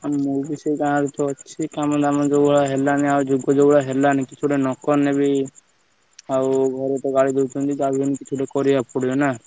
ଆଉ ମୁଁ ବି ସେଇ ଗାଁ ରେ ଅଛି କାମଧାମ ଯୋଉ ଭଳିଆ ହେଲାନି କିଛି ନକଲେବି ଆଉ ଘରେ ତ ଗାଳି ଦଉଛନ୍ତି ଯାହାବି ହେଲେ କିଚିତ କରିବାକୁ ପଡିବ ନା।